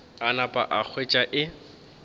a napa a hwetša e